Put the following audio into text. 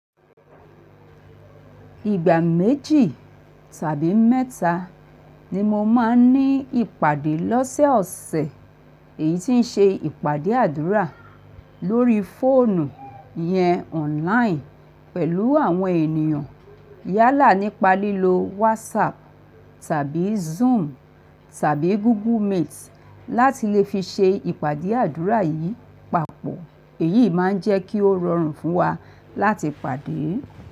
Ìgbà méjì tàbí mẹ́ta ni mo máa ń ní ìpàdé lọ́sẹ̀ ọ̀sẹ̀, èyí tí ń ṣe ìpàdé àdúrà lórí fóònù yẹn online pẹ̀lú àwọn ènìyàn. Yálà nípa lílo WhatsApp tàbí Zoom tàbí Google Meet láti lè fi ṣe ìpàdé àdúrà yìí papọ̀. Èyí má ń jẹ́ kí ó rọrùn fún wa láti pàdé.